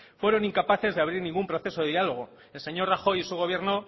fueron incapaces de abrir ningún proceso de diálogo el señor rajoy y su gobierno